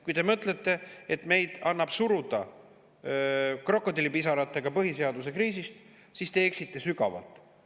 Kui te mõtlete, et meid annab suruda krokodillipisaratega põhiseaduse kriisist, siis te eksite sügavalt.